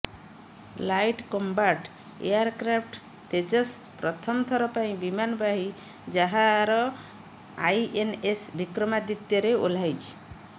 light combat aircraft Tejas ପ୍ରଥମ ଥର ପାଇଁ ବିମାନବାହି ଜାହାର ଆଇଏନଏସ୍ ବିକ୍ରମାଦିତ୍ୟରେ ଓହ୍ଲାଇଛି